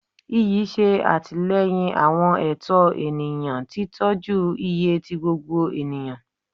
Iyi ṣe atilẹyin awọn ẹtọ eniyan, titọju iye ti gbogbo eniyan